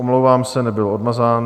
Omlouvám se, nebyl odmazán.